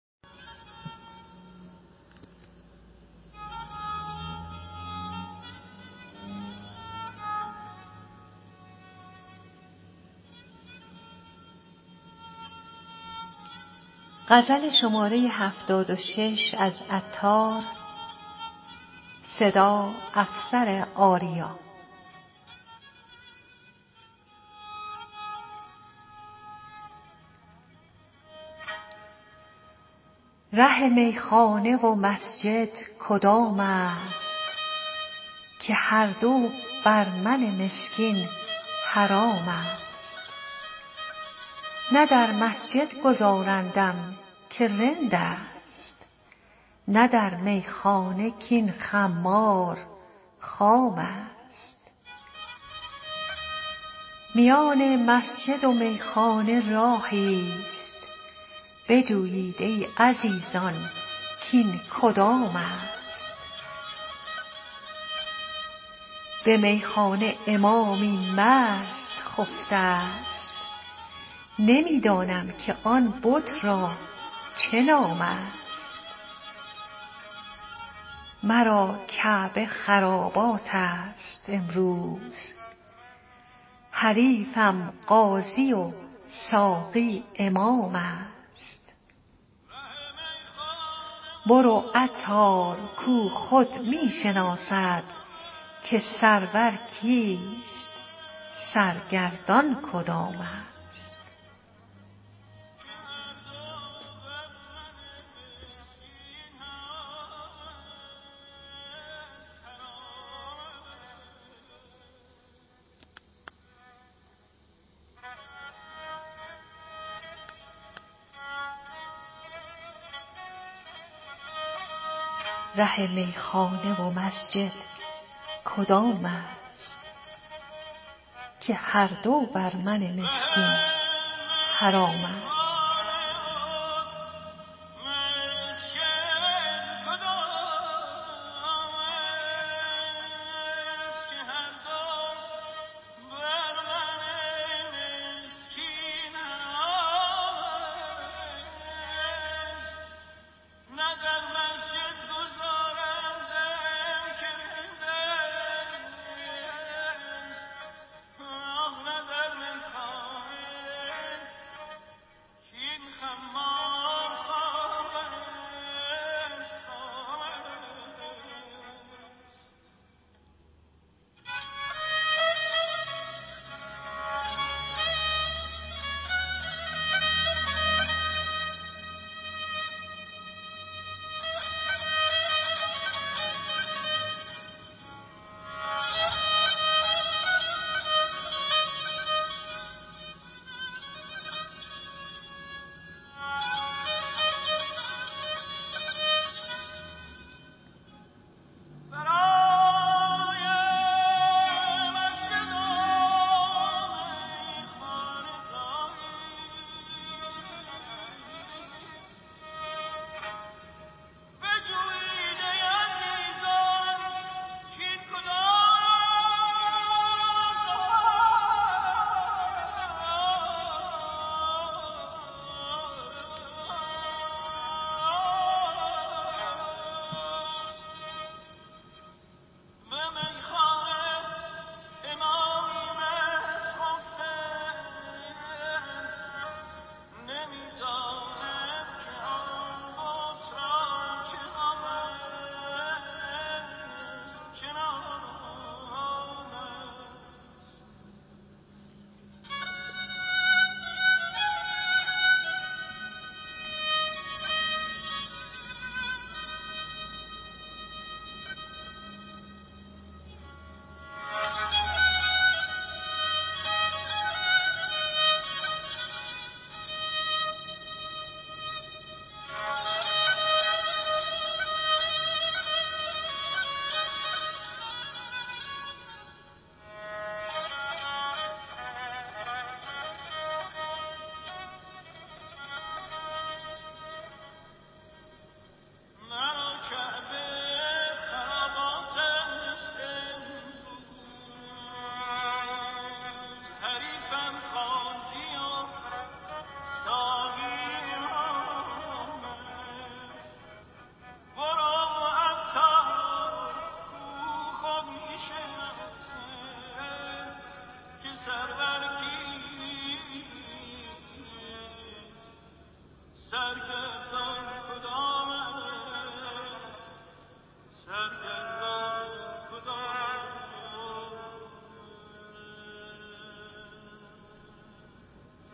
ره میخانه و مسجد کدام است که هر دو بر من مسکین حرام است نه در مسجد گذارندم که رند است نه در میخانه کین خمار خام است میان مسجد و میخانه راهی است بجویید ای عزیزان کین کدام است به میخانه امامی مست خفته است نمی دانم که آن بت را چه نام است مرا کعبه خرابات است امروز حریفم قاضی و ساقی امام است برو عطار کو خود می شناسد که سرور کیست سرگردان کدام است